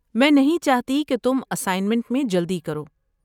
میں نہیں چاہتی کہ تم اسائنمنٹ میں جلدی کرو۔